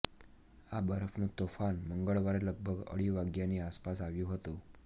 આ બરફનું તોફાન મંગળવારે લગભગ અઢી વાગ્યાની આસપાસ આવ્યું હતું